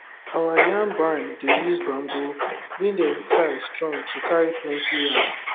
our yam barn dey use bamboo wey dem tie strong to carry plenty yam